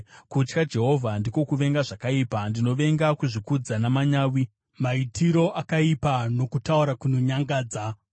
Kutya Jehovha ndiko kuvenga zvakaipa; ndinovenga kuzvikudza namanyawi, maitiro akaipa nokutaura kunonyangadza.